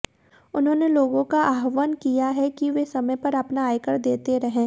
उन्होंने लोगों का आह्वान किया है कि वे समय पर अपना आयकर देते रहें